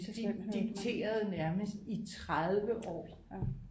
De dikterede nærmest i 30 år